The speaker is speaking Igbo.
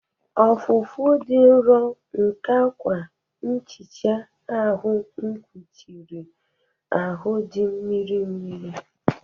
Ọfụfụ dị nro nke akwa nhicha ahụ kpuchiri ahụ dị mmiri mmiri.